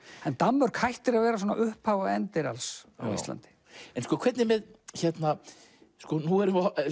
en Danmörk hættir að vera upphaf og endir alls á Íslandi en hvernig er með nú